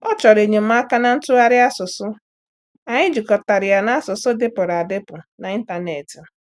Ọ chọrọ enyemaka na ntụgharị asụsụ, anyị jikọtara ya na asụsụ dịpụrụ adịpụ n'ịntanetị.